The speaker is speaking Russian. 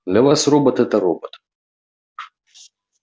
для вас робот это робот